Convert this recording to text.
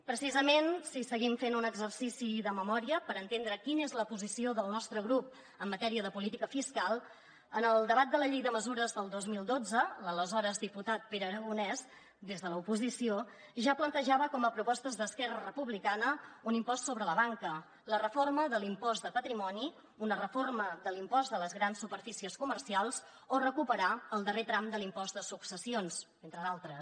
precisament si seguim fent un exercici de memòria per entendre quina és la posició del nostre grup en matèria de política fiscal en el debat de la llei de mesures del dos mil dotze l’aleshores diputat pere aragonès des de l’oposició ja plantejava com a propostes d’esquerra republicana un impost sobre la banca la reforma de l’impost de patrimoni una reforma de l’impost de les grans superfícies comercials o recuperar el darrer tram de l’impost de successions entre d’altres